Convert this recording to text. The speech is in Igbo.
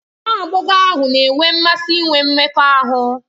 Nwa agbọghọ ahụ na-enwe mmasị inwe mmekọahụ